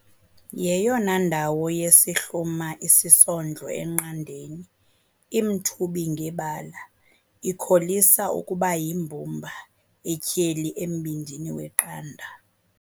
yeyona ndawo yesihluma isisondlo eqandeni, imthubi ngebala, ikholisa ukuba yimbumba etyheli embindini weqanda.